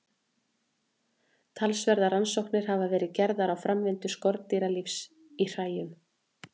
Talsverðar rannsóknir hafa verið gerðar á framvindu skordýralífs í hræjum.